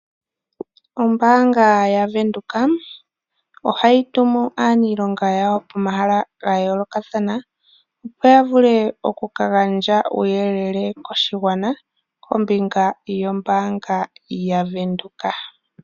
Ombaanga yaVenduka ohayi tumu aaniilonga yawo pomahala ga yoolokathana opo ya vule oku ka gandja uuyelele koshigwana kombinga yombaanga yaVenduka.